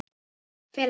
Fela sig.